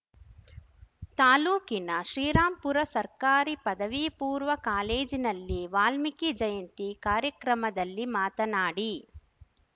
ತಾಲೂಕಿನ ಶ್ರೀರಾಂಪುರ ಸರ್ಕಾರಿ ಪದವಿಪೂರ್ವ ಕಾಲೇಜಿನಲ್ಲಿ ವಾಲ್ಮೀಕಿ ಜಯಂತಿ ಕಾರ್ಯಕ್ರಮದಲ್ಲಿ ಮಾತನಾಡಿ